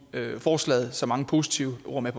forslaget så mange positive ord med